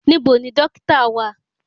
Níbo ni dọ́kítà wà?